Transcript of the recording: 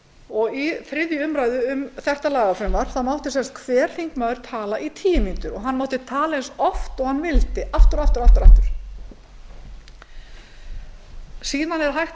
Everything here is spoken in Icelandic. mínútur í þriðju umræðu um þetta lagafrumvarp mátti sem sagt hver þingmaður tala í tíu mínútur og hann mátti tala eins oft og hann vildi aftur og aftur og aftur ræðu